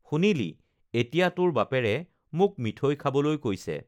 শুনিলি এতিয়া তোৰ বাপেৰে মোক মিঠৈ খাবলৈ কৈছে